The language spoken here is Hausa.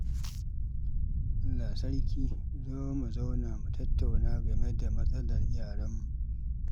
Allah sarki! Zo mu zauna mu tattauna game da matsalar yaran namu.